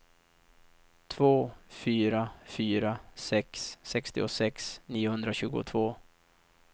två fyra fyra sex sextiosex niohundratjugotvå